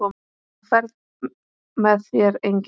Á ferð með þér enginn.